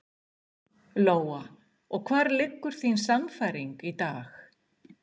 Lóa: Og hvar liggur þín sannfæring í dag?